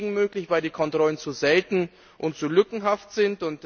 Das ist deswegen möglich, weil die Kontrollen zu selten und zu lückenhaft sind.